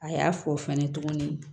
A y'a fɔ fɛnɛ tuguni